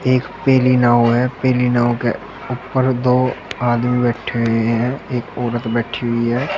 एक पीली नाव है पीली नाव के ऊपर दो आदमी बैठे हुए हैं एक औरत बैठी हुई है।